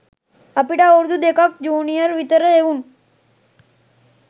අපිට අවුරුදු දෙකක් ජූනියර් විතර එවුන්.